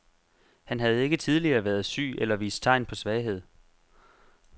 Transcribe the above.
Han havde ikke tidligere været syg eller vist tegn på svaghed.